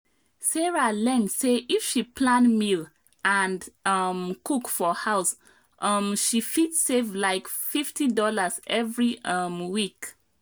sarah learn say if she plan meal and um cook for house um she fit save like fifty dollarsevery um week.